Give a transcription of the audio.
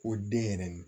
Ko den yɛrɛ